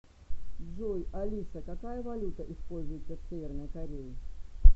джой алиса какая валюта используется в северной корее